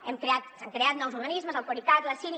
hem creat s’han creat nous organismes el coricat la ciri